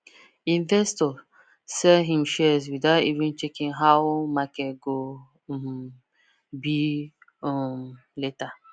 investor sell him shares without even checking how market go um be um later